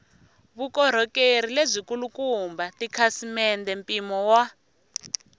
vukorhokeri lebyikulukumba tikhasimende mpimo wa